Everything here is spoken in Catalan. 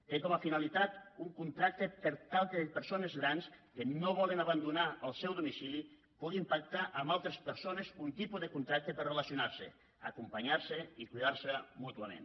té com a finalitat un contracte per tal que persones grans que no volen abandonar el seu domicili puguin pactar amb altres persones un tipus de contracte per relacionar se acompanyar se i cuidar se mútuament